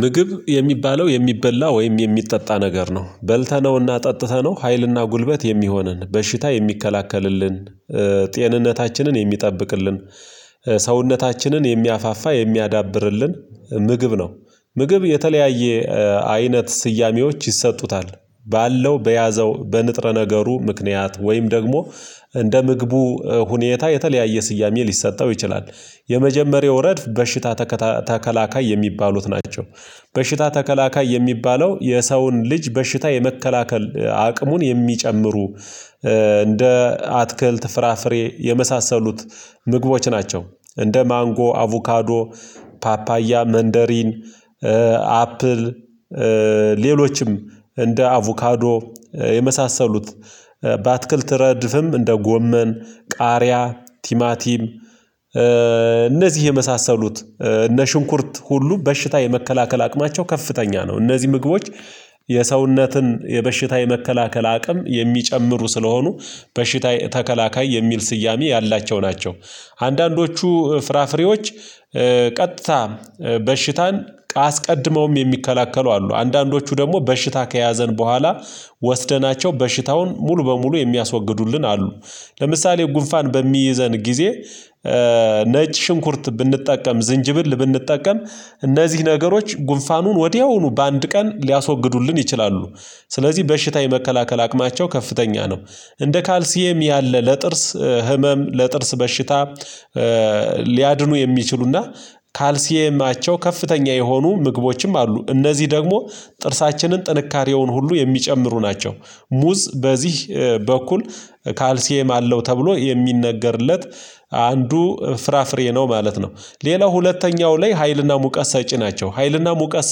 ምግብ የሚባለው የሚበላ ወይም የሚጠጣ ነገር ነው በልተነውና ጠጥተነው ሀይልና ጉልበት የሚሆነን፣ በሽታ የሚከላከልልን፣ ጤንነታችንን የሚጠብቅልን፣ ሰውነታችንን የሚያፋፋ የሚያዳብርልን፣ ምግብ ነው ምግብ የተለያየ አይነት ስያሜዎች ይሰጡታል ባለው በያዘው በንጥረ ነገሩ ምክንያት ወይም ደግሞ እንደ ምግቡ ሁኔታ የተለያየ ስያሜ ሊሰጠው ይችላል። የመጀመሪያው ረድፍ በሽታ ተከታ ተከላካይ የሚባሉት ናቸው በሽታ ተከላካይ የሚባለው የሰውን ልጅ በሽታ የመከላከል አቅሙን የሚጨምሩ እንደ አትክልት ፍራፍሬ የመሳሰሉት ምግቦች ናቸው እንደ ማንጎ፣ አቮካዶ፣ ፓፓያ፣ መንደሪን፣ አፕል ሌሎችም እንደ አቮካዶ የመሳሰሉት በአትክልት ረድፍም እንደ ጎመን፣ ቃሪያ፣ ቲማቲም እነዚህ የመሳሰሉት እነ ሽንኩርት ሁሉ በሽታ የመከላከል አቅማቸው ከፍተኛ ነው። እነዚህ ምግቦች የሰውነትን የበሽታ የመከላከል አቅም የሚጨምሩ ስለሆኑ በሽታ ተከላካይ የሚል ስያሜ ያላቸው ናቸው። አንዳንዶቹ ፍራፍሬዎች ቀጥታ በሽታን አስቀድመውም የሚከላከሉ አሉ አንዳንዶቹ ደግሞ በሽታ ከያዘን በኋላ ወስደናቸው በሽታውን ሙሉ በሙሉ የሚያስወግዱልን አሉ ለምሳሌ ጉንፋን በሚይዘን ጊዜ ነጭ ሽንኩርት ብንጠቀም፣ ዝንጅብል ብንጠቀም እነዚህ ነገሮች ጉንፋኑን ወዲያውኑ በአንድ ቀን ሊያስወግዱልን ይችላሉ ስለዚህ በሽታ የመከላከል አቅማቸው ከፍተኛ ነው። እንደ ካልሲየም ያለ ለጥርስ ህመም፣ ለጥርስ በሽታ ሊያድኑ የሚችሉና ካልሲየማቸው ከፍተኛ የሆኑ ምግቦችም አሉ፤ እነዚህ ደግሞ ጥርሳችንን ጥንካሬውን ሁሉ የሚጨምሩ ናቸው፣ ሙዝ በዚህ በኩል ካልሲየም አለው ተብሎ የሚነገርለት አንዱ ፍራፍሬ ነው ማለት ነው። ሌላው ሁለተኛው ላይ ሀይልና ሙቀት ሰጪ ናቸው ሀይልና ሙቀት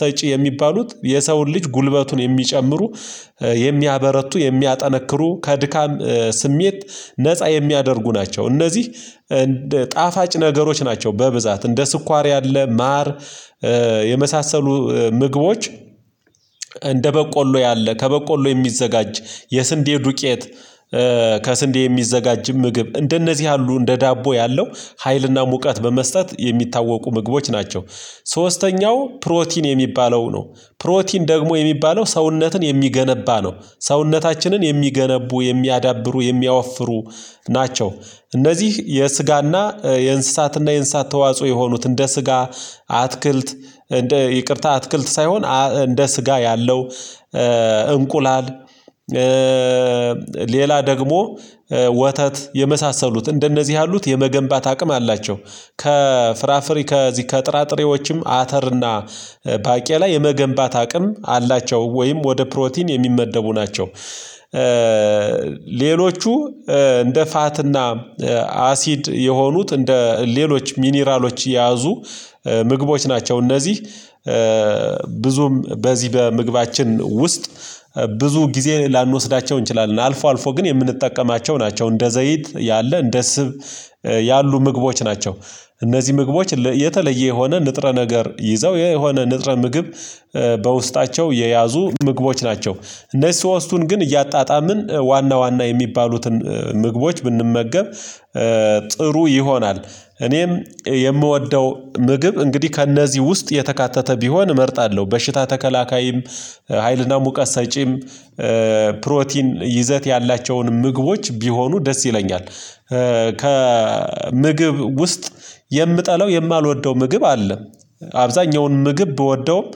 ሰጪ የሚባሉት የሰውን ልጅ ጉልበቱን የሚጨምሩ የሚያበረቱ፣ የሚያጠነክሩ ከድካም ስሜት ነፃ የሚያደርጉ ናቸው፣ እነዚህ ጣፋጭ ነገሮች ናቸው በብዛት እንደ ስኳር ያለ፣ ማር የመሳሰሉ ምግቦች እንደ በቆሎ ያለ ከበቆሎ የሚዘጋጅ የስንዴ ዱቄት ከስንዴ የሚዘጋጅ ምግብ እንደነዚህ ያሉ እንደ ዳቦ ያለው ሀይልና ሙቀት በመስጠት የሚታወቁ ምግቦች ናቸው። ሶስተኛው ፕሮቲን የሚባለው ነው ፕሮቲን ደግሞ የሚባለው ሰውነትን የሚገነባ ነው። ሰውነታችንን የሚገነቡ፣ የሚያዳብሩ፣ የሚያወፍሩ ናቸው እነዚህ የስጋና የእንስሳትና የእንስሳት ተዋጽኦ የሆኑት እንደ ስጋ፣ አትክልት ይቅርታ አትክልት ሳይሆን እንደ ስጋ ያለው እንቁላል፣ ሌላ ደግሞ ወተት የመሳሰሉት እንደነዚህ ያሉት የመገንባት አቅም አላቸው ከፍራፍሬ ከዚህ ከጥራጥሬዎችም አተር እና ባቄላ የመገንባት አቅም አላቸው ወይም ወደ ፕሮቲን የሚመደቡ ናቸው። ሌሎቹ እንደ ፋትና አሲድ የሆኑት እንደ ሌሎች ሚኒራሎች የያዙ ምግቦች ናቸው፤ እነዚህ ብዙም በዚህ በምግባችን ውስጥ ብዙ ጊዜ ላንወስዳቸው እንችላለን አልፎ አልፎ ግን የምንጠቀማቸው ናቸው እንደ ዘይት ያለ፣ እንደ ስብ ያሉ ምግቦች ናቸው። እነዚህ ምግቦች የተለየ የሆነ ንጥረ ነገር ይዘው የሆነ ንጥረ ምግብ በውስጣቸው የያዙ ምግቦች ናቸው እነሱ ሶስቱን ግን እያጣጣምን ዋና ዋና የሚባሉትን ምግቦች ብንመገብ ጥሩ ይሆናል። እኔም የምወደው ምግብ እንግዲህ ከእነዚህ ውስጥ የተካተተ ቢሆን እመርጣለሁ በሽታ ተከላካይም፣ ሀይልና ሙቀት ሰጪም፣ ፕሮቲን ይዘት ያላቸውን ምግቦች ቢሆኑ ደስ ይለኛል። ከምግብ ውስጥ የምጠላው የማልወደው ምግብ አለ። አብዛኛውን ምግብ ብወደውም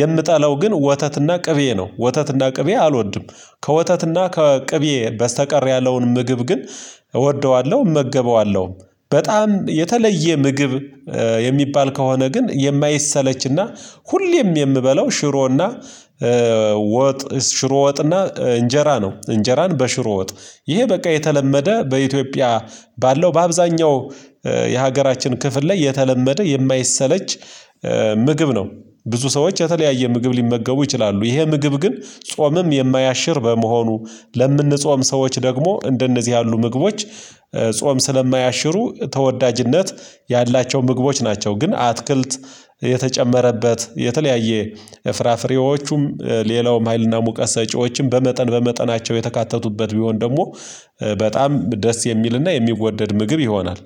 የምጠላው ግን ወተትና ቅቤ ነው። ወተትና ቅቤ አልወድም ከወተትና ከቅቤ በስተቀር ያለውን ምግብ ግን እወደዋለሁ እመገበዋለሁ። በጣም የተለየ ምግብ የሚባል ከሆነ ግን የማይሰለችና ሁሌም የምበለው ሽሮና ወጥ ሽሮ ወጥና እንጀራ ነው እንጀራን በሽሮ ወጥ ይሄ በቃ የተለመደ በኢትዮጵያ ባለው በአብዛኛው የሀገራችን ክፍል ላይ የተለመደ የማይሰለች ምግብ ነው ብዙ ሰዎች የተለያየ ምግብ ሊመገቡ ይችላሉ ይሄ ምግብ ግን ጾምም የማያሽር በመሆኑ ለምንጾም ሰዎች ደግሞ እንደነዚህ ያሉ ምግቦች ጾም ስለማያሽሩ ተወዳጅነት ያላቸው ምግቦች ናቸው፤ ግን አትክልት የተጨመረበት የተለያየ ፍራፍሬዎቹም ሌላውም ሀይልና ሙቀት ሰጪዎችም በመጠን በመጠናቸው የተካተቱበት ቢሆን ደግሞ በጣም ደስ የሚልና የሚወደድ ምግብ ይሆናል።